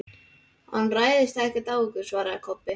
Hann ræðst ekkert á okkur, svaraði Kobbi.